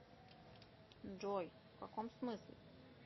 джой в каком смысле